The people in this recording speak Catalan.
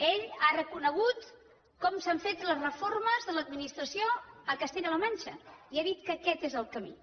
ell ha reconegut com s’han fet les reformes de l’administració a castella la manxa i ha dit que aquest és el camí